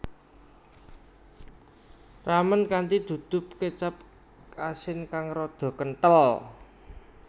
Ramen kanthi duduh kecap asin kang rada kenthel